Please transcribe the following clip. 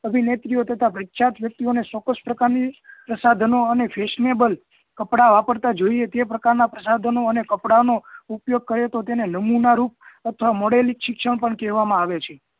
અભિનેત્રીઓ તથા પ્રખ્યાત વ્યક્તિઓ ને ચોક્કસ પ્રકારની પ્રસાધનો અને fashionable કપડાઓ વાપરતા જોઈએ તે પ્રકારના કપડાઓ અને પ્રસાધનો ઉપયોગ કરીએ તો તેને નમૂનારૂપ અને modelik શિક્ષણ પણ કહેવામાં આવે છે